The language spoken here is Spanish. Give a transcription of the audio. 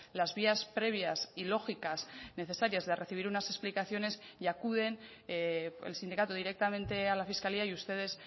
las vías previas y lógicas necesarias de recibir unas explicaciones y acuden el sindicato directamente a la fiscalía y ustedes